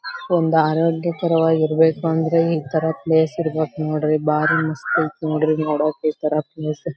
. ಒಂದ ಆರೋಗ್ಯಕರವಾಗಿರ ಬೇಕುಂದ್ರೆ ಇತರ ಪ್ಲೇಸ್ ಇರಬೇಕು ನೋಡ್ರಿ ಬಾರಿ ಮಸ್ತ ಐತಿ ನೋಡ್ರಿ ನೋಡಕ್ಕ ಇತರ ಪ್ಲೇಸ್ .